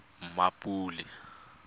mmapule